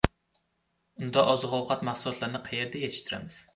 Unda oziq-ovqat mahsulotlarini qayerda yetishtiramiz?